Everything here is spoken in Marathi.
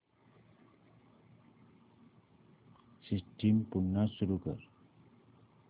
सिस्टम पुन्हा सुरू कर